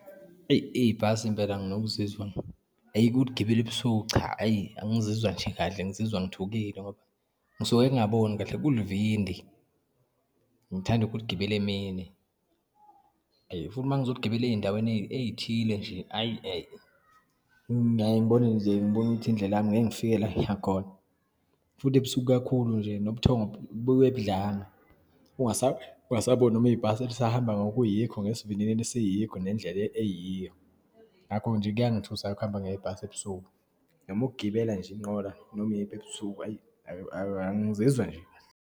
Eyi, ibhasi impela nginokuzizwa, ayi ukuligibela ebusuku cha, ayi angizizwa nje kahle, ngizizwa ngithukile ngoba ngisuke ngingaboni kahle, kulivindi. Ngithanda ukuligibela emini. Ayi futhi uma ngizoligibela eyindaweni eyithile nje, ayi ngeke. Ngiyaye ngibone nje, ngibone ukuthi indlela yami ngeke ngifike la engiyakhona, futhi ebusuku kakhulu nje nobuthongo bube budlanga, ungasababoni noma ibhasi lisahamba ngokuyikho, ngesivinini esiyikho, nendlela eyiyo. Ngakho-ke nje, kuyangithusa ukuhamba ngebhasi ebusuku noma ukugibela nje inqola, noma iyiphi ebusuku, ayi, ayi angizizwa nje kahle.